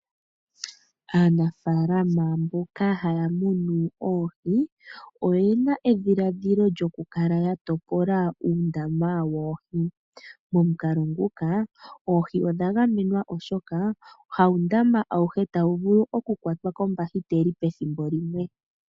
Aanafalama mboka haya munu oohi, oyena edhiladhilo lyokukala yatopola uundama woohi. Momukalo nguka, oohi odhagamwenwa oshoka, hawundama awuhe tawuvulu oku kwatwa kombakiteli pethimbo limwe.